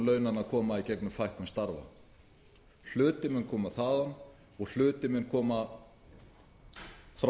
launanna koma í gegnum fækkun starfa hluti mun koma þaðan og hluti mun koma frá